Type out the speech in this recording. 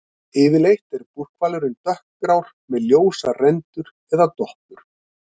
Yfirleitt er búrhvalurinn dökkgrár, með ljósar rendur eða doppur.